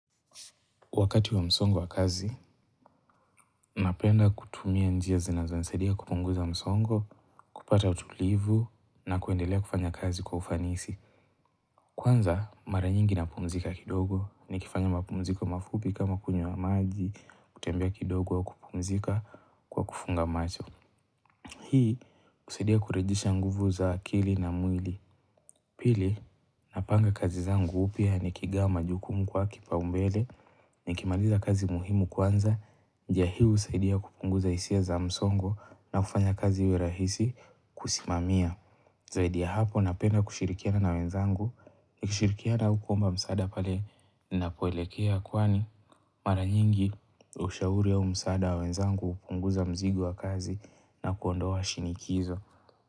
Wakati wa msongo wa kazi, napenda kutumia njia zinazonisaidia kupunguza msongo, kupata utulivu, na kuendelea kufanya kazi kwa ufanisi. Kwanza, mara nyingi napumzika kidogo, nikifanya mapumziko mafupi kama kunywa maji, kutembea kidogo au kupumzika kwa kufunga macho. Hii, husaidia kurejesha nguvu za akili na mwili. Pili, napanga kazi zangu upya nikigawa majukumu kwa kipaumbele, nikimaliza kazi muhimu kwanza, njia hii husaidia kupunguza hisia za msongo na kufanya kazi iwe rahisi kusimamia. Zaidi ya hapo napenda kushirikiana na wenzangu, nikishirikiana au kuomba msaada pale ninapoelekea kwani mara nyingi ushauri au msaada wa wenzangu hupunguza mzigo wa kazi na kuondoa shinikizo.